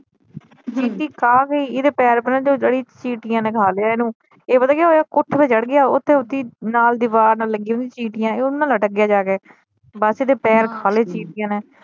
ਚੀਟੀ ਖਾ ਗਈ ਏਦੇ ਪੈਰ ਪਹਿਲਾ ਜਿਹੜੀ ਉਹ ਚੀਟੀਆ ਨੇ ਖਾਲਿਆ ਇਹਨੂੰ ਇਹ ਪਤਾ ਕੀ ਹੋਇਆ ਕੋਠੇ ਤੇ ਚੜ੍ਹ ਗਿਆ ਉੱਥੇ ਓਥੀ ਨਾਲ ਦੀਵਾਰ ਨਾਲ ਲੱਗੀ ਹੁੰਦੀ ਚੀਟੀਆ ਇਹ ਓਹਨਾ ਲਟਕ ਗਿਆ ਜਾ ਕੇ ਬਸ ਏਦੇ ਪੈਰ ਖਾਲੇ ਚੀਟੀਆ ਨੇ।